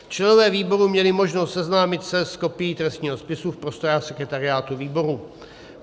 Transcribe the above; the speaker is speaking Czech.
Členové výboru měli možnost seznámit se s kopií trestního spisu v prostorách sekretariátu výboru.